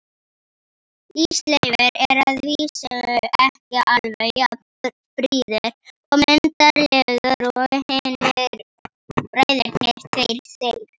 Ísleifur er að vísu ekki alveg jafn fríður og myndarlegur og hinir bræðurnir tveir, þeir